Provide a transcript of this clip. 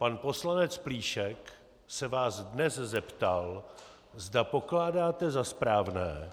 Pan poslanec Plíšek se vás dnes zeptal, zda pokládáte za správné,